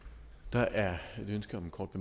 der er et ønske om en kort